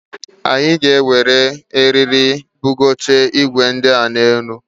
Anyị ga-eji eriri wee bugocha igwe ndia n'elu ụlọ